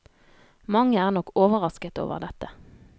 Mange er nok overrasket over dette.